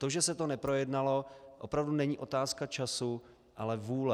To, že se to neprojednalo, opravdu není otázka času, ale vůle.